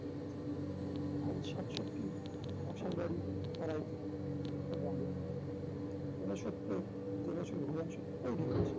কারণ সাতষট্টি নকশাল বাড়ি তাড়াইতে উত্তরবঙ্গে ঊনসত্তরে যে বছর ভুবন সোম তৈরি হচ্ছে